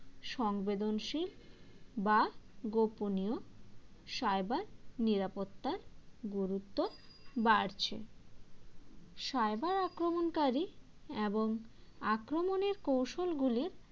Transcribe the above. সংবেদনশীল বা গোপনীয় cyber নিরাপত্তার গুরুত্ব বাড়ছে cyber আক্রমণকারী এবং আক্রমণের কৌশলগুলির